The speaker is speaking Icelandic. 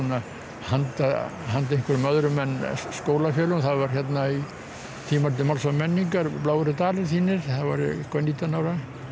handa handa einhverjum öðrum en skólafélögum það var í tímariti Máls og menningar bláir eru dalir þínir þá var ég eitthvað nítján ára